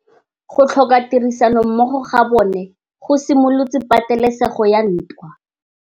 Go tlhoka tirsanommogo ga bone go simolotse patêlêsêgô ya ntwa.